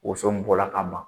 Woso bɔra ka ban